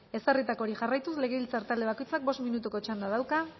ezarritakoari jarraituz legebiltzar talde bakoitzak bost minutuko txanda dauka